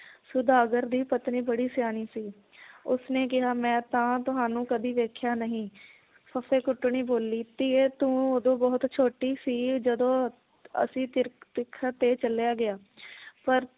ਸੌਦਾਗਰ ਦੀ ਪਤਨੀ ਬੜੀ ਸਿਆਣੀ ਸੀ ਉਸਨੇ ਕਿਹਾ ਮੈ ਤਾਂ ਤੁਹਾਨੂੰ ਕਦੇ ਵੇਖਿਆ ਨਹੀ ਫੱਫੇ ਕੁੱਟਣੀ ਬੋਲੀ ਧੀਏ ਤੂੰ ਉਦੋਂ ਬਹੁਤ ਛੋਟੀ ਸੀ ਜਦੋਂ ਅਸੀ ਤੇ ਚੱਲਿਆ ਗਿਆ ਪਰ